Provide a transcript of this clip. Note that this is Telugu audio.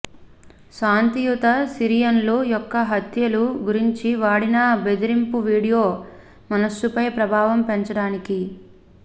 శాంతియుత సిరియన్లు యొక్క హత్యలు గురించి వాడిన బెదిరింపు వీడియో మనస్సుపై ప్రభావం పెంచడానికి